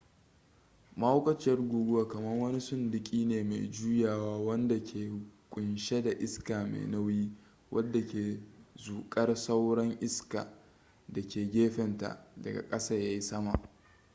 mahaukaciyar guguwa kamar wani sunduki ne me jujjuyawa wanda ke kunshe da iska mai nauyi wadda ke zukar sauran iska da ke gefenta daga kasa ya yi sama